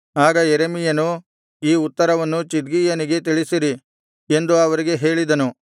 ಆಗ ಯೆರೆಮೀಯನು ಈ ಉತ್ತರವನ್ನು ಚಿದ್ಕೀಯನಿಗೆ ತಿಳಿಸಿರಿ ಎಂದು ಅವರಿಗೆ ಹೇಳಿದನು